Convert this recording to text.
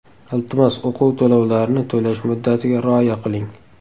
Iltimos, o‘quv to‘lovlarini to‘lash muddatiga rioya qiling.